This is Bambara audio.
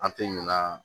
An tɛ ɲina